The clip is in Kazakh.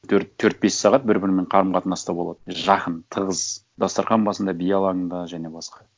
төрт бес сағат бір бірімен қарым қатынаста болады жақын тығыз дастарқан басында би алаңында және басқа